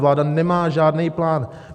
Vláda nemá žádný plán.